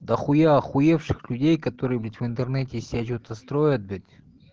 дохуя охуевших людей которые блять в интернете из себя что-то строят блять